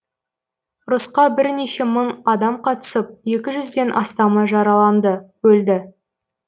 ұрысқа бірнеше мың адам қатысып екі жүзден астамы жараланды өлді